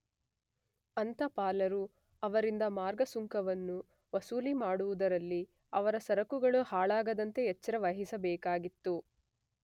ಅಂತಪಾಲರು ಅವರಿಂದ ಮಾರ್ಗ ಸುಂಕವನ್ನು ವಸೂಲಿ ಮಾಡುವುದರಲ್ಲಿ ಅವರ ಸರಕುಗಳು ಹಾಳಾಗದಂತೆ ಎಚ್ಚರ ವಹಿಸಬೇಕಾಗಿತ್ತು.